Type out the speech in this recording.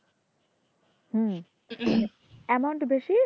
হম amount ও বেশি,